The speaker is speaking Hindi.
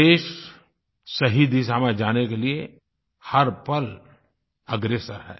देश सही दिशा में जाने के लिए हर पल अग्रसर है